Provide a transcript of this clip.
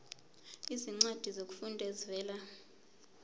izincwadi zokufunda ezivela